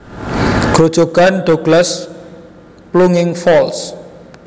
Grojogan Douglas plunging falls